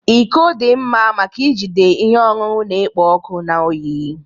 Iko dị mma maka ijide ihe ọṅụṅụ na-ekpo ọkụ na oyi.